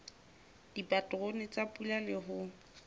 dipaterone tsa pula le ho